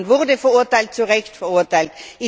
Italien wurde verurteilt, zu Recht verurteilt.